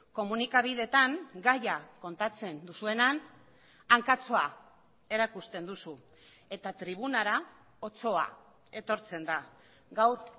komunikabideetan gaia kontatzen duzuenean hankatxoa erakusten duzu eta tribunara otsoa etortzen da gaur